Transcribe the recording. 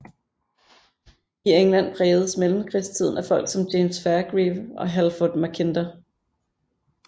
I England prægedes mellemkrigstiden af folk som James Fairgrieve og Halford Mackinder